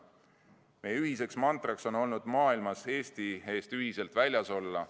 Meie ühiseks mantraks on olnud maailmas Eesti eest ühiselt väljas olla.